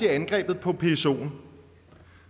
angrebet på psoen